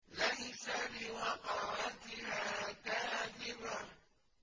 لَيْسَ لِوَقْعَتِهَا كَاذِبَةٌ